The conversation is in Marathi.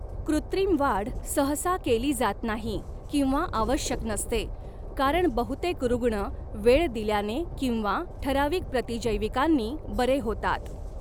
कृत्रिम वाढ सहसा केली जात नाही किंवा आवश्यक नसते, कारण बहुतेक रुग्ण वेळ दिल्याने किंवा ठराविक प्रतिजैविकांनी बरे होतात.